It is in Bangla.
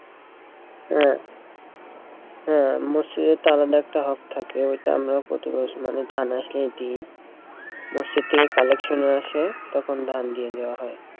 হ্যাঁ হ্যাঁ আলাদা একটা থাকে ওটা আমরাও প্রতিবার ধান আসলে দেই মসজিদ থেকে collection ও আসে তখন ধান দিয়ে দেওয়া হয়।